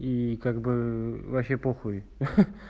и как бы вообще похуй ха-ха